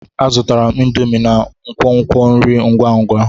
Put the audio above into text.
Azụtara m indomie na nkwonkwo nri ngwa ngwa.